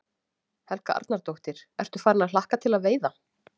Helga Arnardóttir: Ertu farinn að hlakka til að veiða?